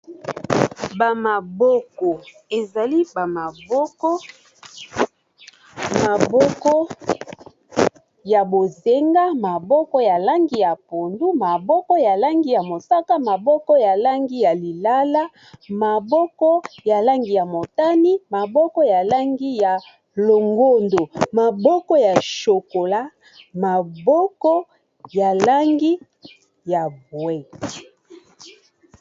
bamaboko ezali bamaboko maboko ya bozenga maboko ya langi ya pondu maboko ya langi ya mosaka maboko ya langi ya lilala maboko ya langi ya motani maboko ya langi ya longondo maboko ya shokola maboko ya langi ya bwee